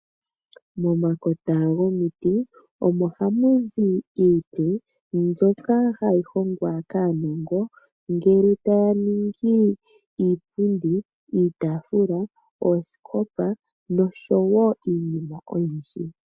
Momakota gomiti omo hamu zi iiti mbyoka hayi hongwa kaanongo ngele taya ningi iipundi, iitafula, oosikopa noshowo iinima oyindji.